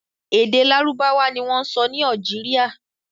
Èdè Lárúbáwá ni wọ́n ń sọ ni Algeria.